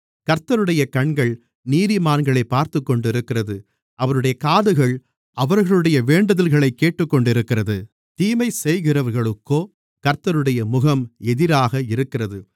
கர்த்தருடைய கண்கள் நீதிமான்களைப் பார்த்துக்கொண்டிருக்கிறது அவருடைய காதுகள் அவர்களுடைய வேண்டுதல்களைக் கேட்டுக்கொண்டிருக்கிறது தீமைசெய்கிறவர்களுக்கோ கர்த்தருடைய முகம் எதிராக இருக்கிறது